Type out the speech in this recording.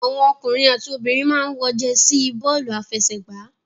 Àwọn ọkùnrin àti obìnrin máa ń wọ jẹsí bọ́ọ́lù-afẹsẹ̀gbá.